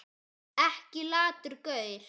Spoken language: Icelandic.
Ekki latur gaur!